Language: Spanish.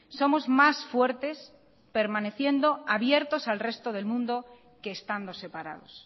somos más fuertes permaneciendo abiertos al resto del mundo que estando separados